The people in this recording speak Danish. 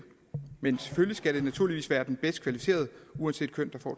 men selvfølgelig skal det naturligvis være den bedst kvalificerede uanset køn